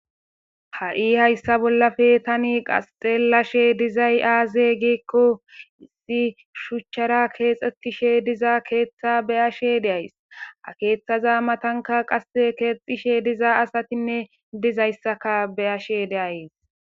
Ha'i hayssa bollafe tani qasxellashe dizay aaze giikko issi shuchchara keexxetishe diza keeththa beyashe deays a keeththaza matanka qase keexxishe diza asatinne dizayssaka beyashe deayes.